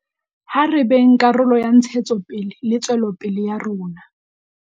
Ha re beng karolo ya ntshetsopele le tswelopele ya rona.